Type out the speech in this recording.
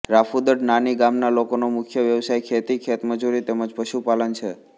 રાફુદડ નાની ગામના લોકોનો મુખ્ય વ્યવસાય ખેતી ખેતમજૂરી તેમ જ પશુપાલન છે